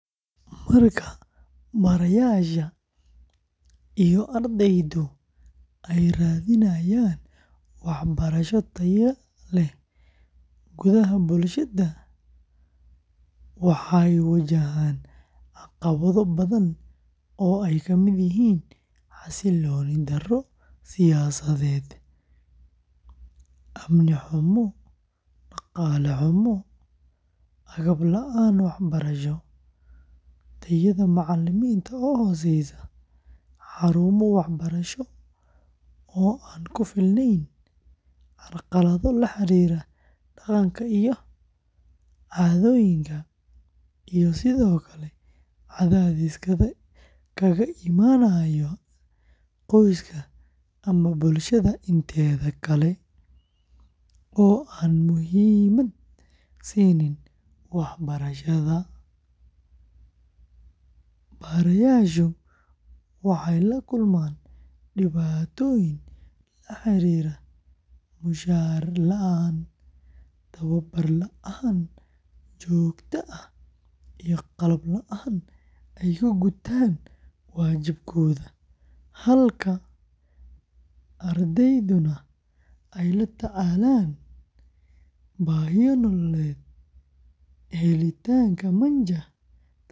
Marka barayaasha iyo ardaydu ay raadinayaan waxbarasho tayo leh gudaha bulshada, waxay wajahaan caqabado badan oo ay ka mid yihiin xasilooni darro siyaasadeed, amni xumo, dhaqaale xumo, agab la’aan waxbarasho, tayada macallimiinta oo hooseysa, xarumo waxbarasho oo aan ku filnayn, carqalado la xiriira dhaqanka iyo caadooyinka, iyo sidoo kale cadaadis kaga imaanaya qoyska ama bulshada inteeda kale oo aan muhiimad siinin waxbarashada; barayaashu waxay la kulmaan dhibaatooyin la xiriira mushahar la’aan, tababar la’aan joogto ah, iyo qalab la’aan ay ku gutaan waajibaadkooda, halka ardayduna ay la tacaalaan baahiyo nololeed, helitaanka manhaj tayo leh.